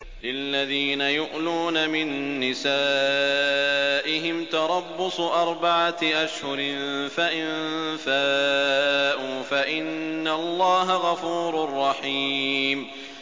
لِّلَّذِينَ يُؤْلُونَ مِن نِّسَائِهِمْ تَرَبُّصُ أَرْبَعَةِ أَشْهُرٍ ۖ فَإِن فَاءُوا فَإِنَّ اللَّهَ غَفُورٌ رَّحِيمٌ